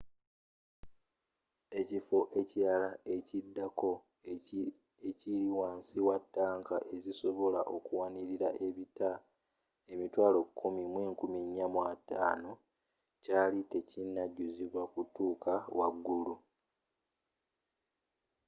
ekifo ekilala ekiddako ekiri wansi wa tanka ezisobola okuwanilira ebita 104,500 kyali tekinajuzibwa kutuuka waggulu